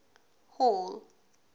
hall